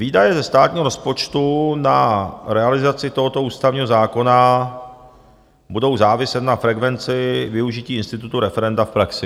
Výdaje ze státního rozpočtu na realizaci tohoto ústavního zákona budou záviset na frekvenci využití institutu referenda v praxi.